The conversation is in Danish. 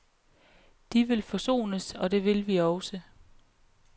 De vil forsones, og det vil vi også.